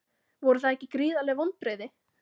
Voru það ekki gríðarleg vonbrigði?